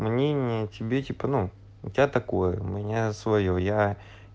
мнение тебе типа ну у тебя такое у меня своё я